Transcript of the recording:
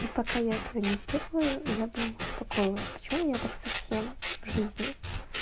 и пока я этого не сделаю я бы не успокоилась почему я так со всем в жизни